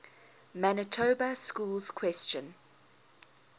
manitoba schools question